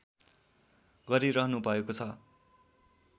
गरिरहनुभएको छ